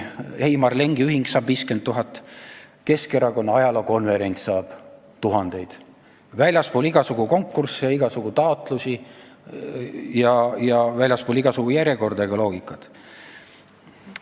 Heimar Lengi ühing saab 50 000 eurot, Keskerakonna ajaloo konverents tuhandeid eurosid – väljaspool igasugu konkursse ja igasugu taotlusi ja väljaspool igasugu järjekorda ja loogikat.